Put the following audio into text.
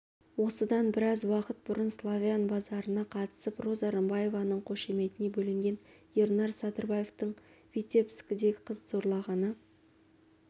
осыдан біраз уақыт бұрын славян базарына қатысып роза рымбаеваның қошеметіне бөленген ернар садырбаевтың витебскіде қыз зорлағаны